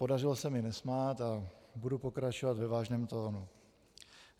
Podařilo se mi nesmát a budu pokračovat ve vážném tónu.